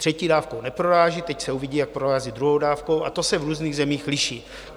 Třetí dávkou neproráží, teď se uvidí, jak prorazí druhou dávkou, a to se v různých zemích liší.